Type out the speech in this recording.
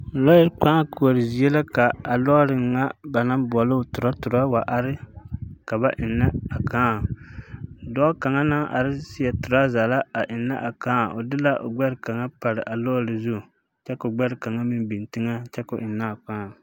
Lɔɛ kpaa koɔre zie la ka lɔɔre ŋa naŋ boɔloo torɔtorɔ a wa are ka ba eŋnɛ a kaa dɔɔ kaŋa naŋ are seɛ torɔzɛ la a eŋnɛ a kaa o gbɛre kaŋa pare lɔɔre zu kyɛ koo gbɛre ka kaŋa meŋ beŋ teŋɛ kyɛ koo eŋnɛ a kaa.